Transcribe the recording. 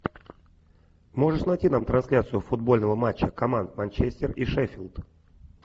можешь найти нам трансляцию футбольного матча команд манчестер и шеффилд